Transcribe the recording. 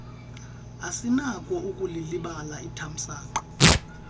asinako ukulilibala ithamsanqa